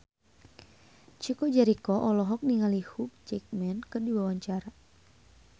Chico Jericho olohok ningali Hugh Jackman keur diwawancara